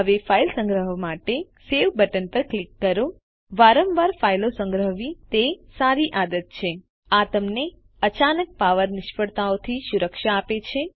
હવે ફાઈલ સંગ્રહવા માટે સવે બટન પર ક્લિક કરો વારંવાર ફાઈલો સંગ્રહવી એ સારી આદત છે આ તમને અચાનક પાવર નિષ્ફળતાઓથી સુરક્ષા આપશે